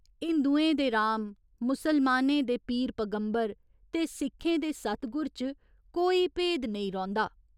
हिंदुएं दे राम, मुसलमानें दे पीर पगम्बर ते सिक्खें दे सतगुर च कोई भेद नेईं रौंह्दा।